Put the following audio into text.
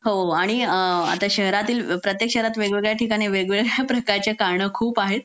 हो आणि शहरातील प्रत्येक वेग वेगळ्या ठिकाणी वेग वेगळं प्रकारची कारण खूप आहेत